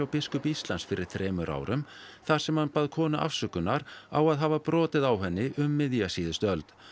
biskupi Íslands fyrir þremur árum þar sem hann bað konu afsökunar á að hafa brotið á henni um miðja síðustu öld